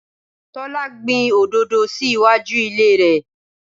Tọ́lá gbìn òdòdó sì iwájú ilé rẹ.